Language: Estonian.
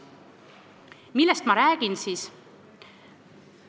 Millest ma räägin?